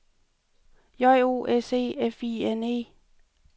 J O S E F I N E